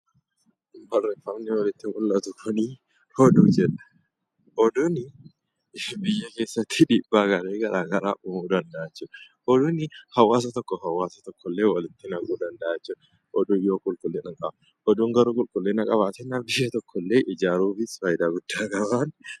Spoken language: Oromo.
Barreeffamni olitti mul'atu kuni oduu jedha. Oduuni biyya keessatti dhiibbaa garaa garaa uumuu danda'a jechuudha. Oduuni hawaasa tokkoo fi hawaasa tokko illee walitti naquu danda'a jechuudha, oduun yoo qulqullina dhabe. Oduun yoo qulqullina qabaate biyya tokkollee ijaaruufis faayidaa guddaa qaba.